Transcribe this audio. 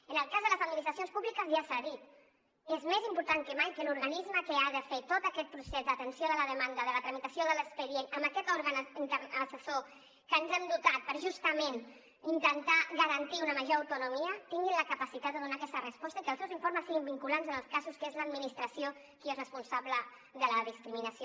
en el cas de les administracions públiques ja s’ha dit és més important que mai que l’organisme que ha de fer tot aquest procés d’atenció de la demanda de la tramitació de l’expedient amb aquest òrgan assessor que ens hem dotat per justament intentar garantir una major autonomia tingui la capacitat de donar aquesta resposta i que els seus informes siguin vinculants en els casos que és l’administració qui és responsable de la discriminació